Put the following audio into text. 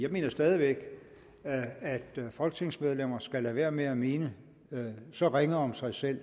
jeg mener stadig væk folketingsmedlemmer skal lade være med at mene så ringe om sig selv